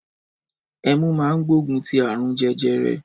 Ẹmú mà ń gbògún ti àrún jẹjẹrẹ.